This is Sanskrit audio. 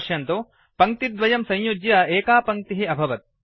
पश्यन्तु पङ्क्तिद्वयं संयुज्य एका पङ्क्तिः अभवत्